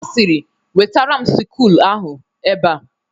Ọ sịrị "Wetatara m sịkụl ahụ ebe a